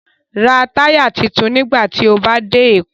Ra táyà tuntun nígbà tí o bá dé Èkó